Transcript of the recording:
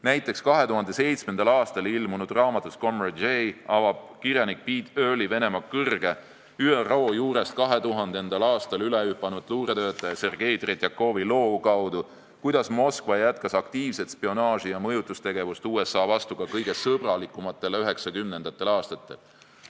Näiteks avab 2007. aastal ilmunud raamatus "Comrade J" kirjanik Pete Earley Venemaa kõrge luuretöötaja, ÜRO juurest 2000. aastal ülehüpanud Sergei Tretjakovi loo kaudu, kuidas Moskva jätkas aktiivset spionaaži ja mõjutustegevust USA vastu ka kõige sõbralikumatel 1990. aastatel.